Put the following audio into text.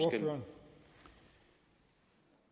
når